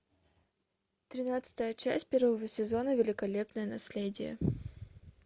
тринадцатая часть первого сезона великолепное наследие